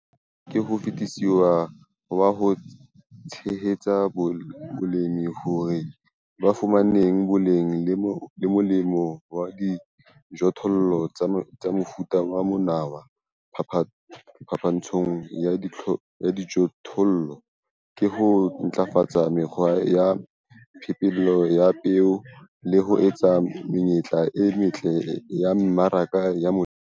Mokgwa o motle ka ho fetisisa wa ho tshehetsa balemi hore ba fumane boleng le molemo wa dijothollo tsa mofuta wa monawa phapantshong ya dijothollo, ke ho ntlafatsa mekgwa ya phepelo ya peo le ho etsa menyetla e metle ya mmaraka ya molemi.